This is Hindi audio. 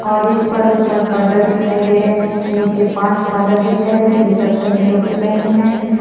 और इस पार उस पार पर्दा दिखाई दे रहे है नीचे पांच फादर दिखाई दे रहे हैं टोपी पहने हैं।